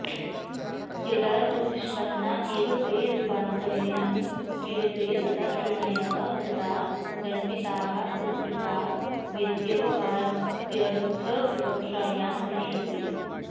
यदा तु निष्पन्ना एव ते रूपान्तरेण क्रियते तदा श्रेणयः कृता दण्डिताः सत्कृता वेत्येवमाद्यर्थविवक्षायां नेष्यते